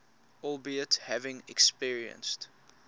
albeit having experienced